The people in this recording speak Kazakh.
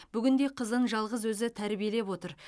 бүгінде қызын жалғыз өзі тәрбиелеп отыр